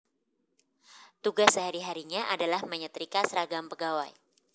Tugas sehari harinya adalah menye trika seragam pegawai